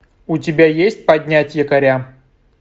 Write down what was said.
у тебя есть поднять якоря